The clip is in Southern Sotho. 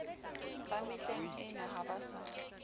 ba mehlengena ha ba sa